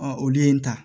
olu ye n ta